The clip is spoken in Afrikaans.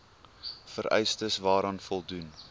vereistes waaraan voldoen